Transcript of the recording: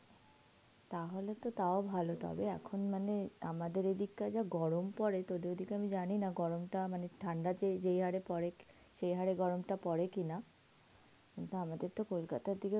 তাহলে তো তাও ভালো. তবে এখন মানে অ্যাঁ আমাদের এদিকার যা গরম পরে, তোদের ঐদিকে আমি জানি না গরমটা, মানে ঠান্ডা, ঠান্ডা যেই হারে পড়ে সেই হারে গরমটা পরে কিনা. কিন্তু আমাদের তো কলকাতার দিকে